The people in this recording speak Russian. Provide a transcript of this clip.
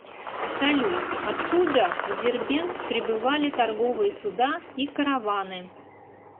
салют откуда в дербент прибывали торговые суда и караваны